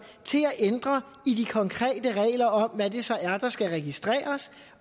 til at ændre i de konkrete regler om hvad det så er der skal registreres